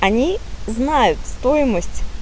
они знают стоимость